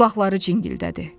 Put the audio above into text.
Qulaqları cingildədi.